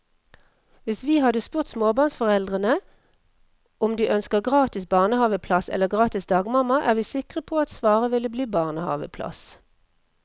Hvis vi hadde spurt småbarnsforeldre om de ønsker gratis barnehaveplass eller gratis dagmamma, er vi sikre på at svaret ville bli barnehaveplass.